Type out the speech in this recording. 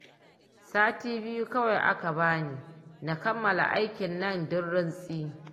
Sati biyu kawai aka bani na kammala aikinnan duk rintsi